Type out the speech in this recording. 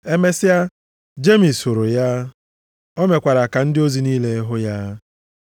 Emesịa, Jemis hụrụ ya; o mekwara ka ndị ozi niile hụ ya.